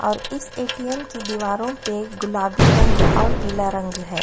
और इस एटीएम की दीवारों पे गुलाबी रंग और पीला रंग है।